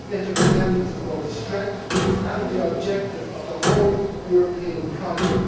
Interdependence is both the strength and the objective of the whole European project.